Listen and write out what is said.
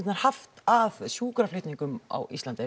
haft að sjúkraflutningum á Íslandi